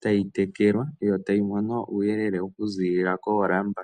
tayi tekelwa yo tayi mono uuyelele okuziilila koolamba.